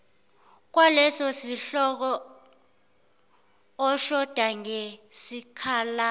kwalesosihloko oshoda ngesikhala